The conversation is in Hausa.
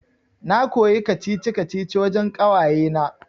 Na koyi kacici-kacici wajan ƙawayena